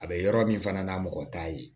A bɛ yɔrɔ min fana na mɔgɔ t'a ye